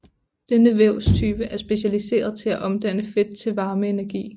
Denne vævstype er specialiseret til at omdanne fedt til varmeenergi